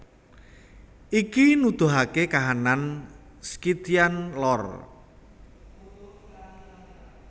Iki nuduhake kahanane Scythian Lor